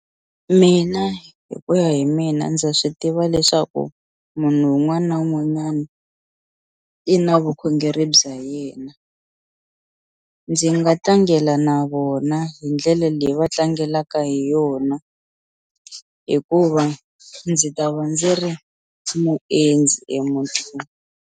Mina hi ku ya hi mina ndza swi tiva leswaku munhu un'wani na un'wanyani i na vukhongeri bya yena ndzi nga tlangela na vona hi ndlele leyi va tlangelaka hi yona hikuva ndzi ta va ndzi ri muendzi emuntini.